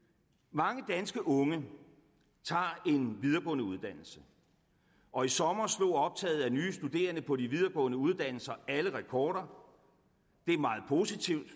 mange danske unge tager en videregående uddannelse og i sommer slog optaget af nye studerende på de videregående uddannelser alle rekorder det er meget positivt